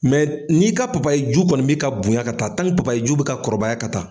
ni ka ju kɔni b'i ka bonɲan ka taa ju bɛ ka kɔrɔbaya ka taa.